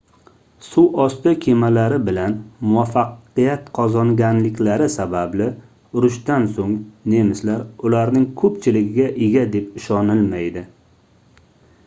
suvosti kemalari bilan muvaffaqiyat qozonganliklari sababli urushdan soʻng nemislar ularning koʻpchiligiga ega deb ishonilmaydi